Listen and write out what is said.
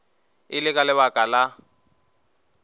e le ka lebaka la